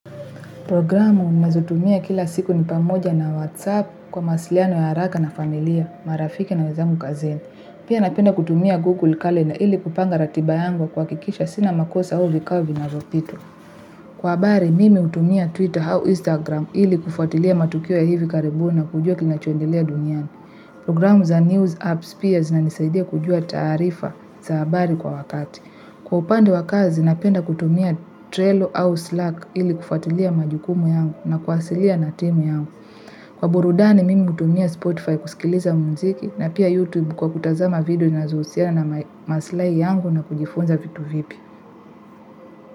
Programu ninazotumia kila siku ni pamoja na Whatsapp kwa masliano ya haraka na familia, marafiki na wezamu kazini. Pia napenda kutumia Google Calendar ili kupanga ratiba yangu kwa kikisha sina makosa huu vikao na vinavopitwa. Kwa abari mimi utumia Twitter hau Instagram ili kufatilia matukio ya hivi karibuni na kujua kinachoendelea duniani. Programu za News Apps pia zina nisaidia kujua tarifa za abari kwa wakati. Kwa upande wakazi napenda kutumia Trello au Slack ili kufatilia majukumu yangu na kwasiliana timu yangu. Kwa burudani mimi mutumia Spotify kusikiliza mziki na pia YouTube kwa kutazama video zinazohusiana maslai yangu na kujifunza vitu vipi.